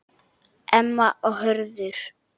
Emma og Hörður.